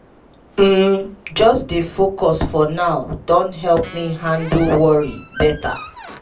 um just dey focus for now don help me handle worry better.